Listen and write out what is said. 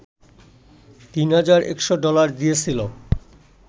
তিন হাজার একশ ডলার দিয়েছিলো